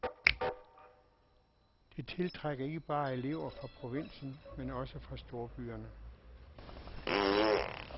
Det tiltrækker ikke bare elever fra provinsen men også fra storbyerne.